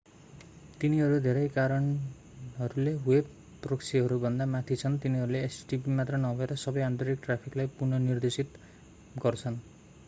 तिनीहरू धेरै कारणहरूले वेब प्रोक्सीहरू भन्दा माथि छन् तिनीहरूले http मात्र नभएर सबै आन्तरिक ट्राफिकलाई पुनः निर्देशित गर्छन्